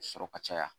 Sɔrɔ ka caya